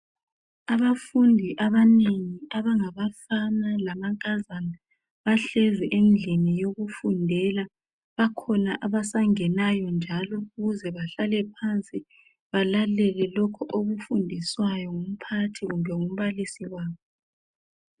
Abafundi abanengi abangabafana lamankazana bahlezi endlini yokufundela. Bakhona abasangenayo njalo ukuze bahlale phansi balalele lokho okufundiswayo ngumphathi kumbe ngumbalisi wabo.